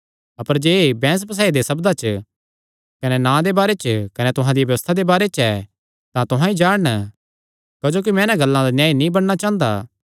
अपर जे एह़ बैंह्स बसाई दे सब्दां च कने नां दे बारे च कने तुहां दिया व्यबस्था दे बारे च ऐ तां तुहां ई जाणन क्जोकि मैं इन्हां गल्लां दा न्यायी नीं बणना चांह़दा